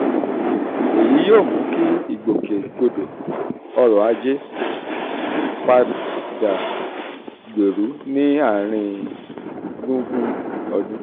èyí yóò mú kí ìgbòkègbodò ọ̀rọ̀ ajé um padà gbèrú ní àárín gbùngbùn ọdún.